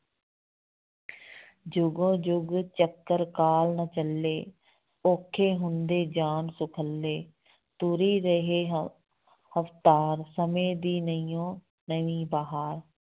ਜੁਗੋ ਜੁਗ ਚਕ੍ਰ ਕਾਲ ਦਾ ਚੱਲੇ, ਔਖੇ ਹੁੰਦੇ ਜਾਣ ਸੁਖੱਲੇ, ਤੁਰੀ ਰਹੇ ਰਫ਼ਤਾਰ, ਸਮੇਂ ਦੀ ਨਵੀਓਂ ਨਵੀਂ ਬਹਾਰ।